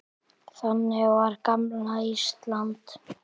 Þannig var gamla Ísland.